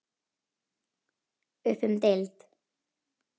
Upp um deild